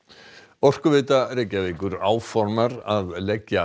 Orkuveita Reykjavíkur áformar að leggja